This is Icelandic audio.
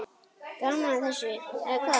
Gaman að þessu, eða hvað?